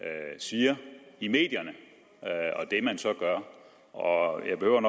siger i medierne og det man så gør og